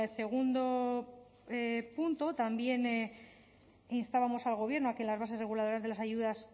segundo punto también instábamos al gobierno a que en las bases reguladoras de las ayudas